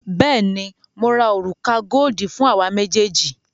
Bẹẹni, ó ra òrùka goodi fún àwa méjèèjì